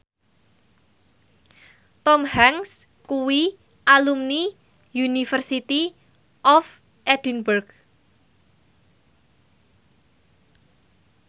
Tom Hanks kuwi alumni University of Edinburgh